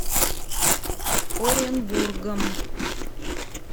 оренбургом